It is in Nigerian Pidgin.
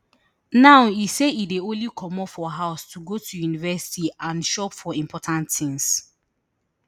now e say e dey only comot for house to go to university and shop for important tins